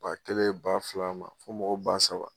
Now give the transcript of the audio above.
Ba kɛlen ba fila ma fo mɔgɔ ba saba.